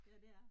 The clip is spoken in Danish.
Ja, det er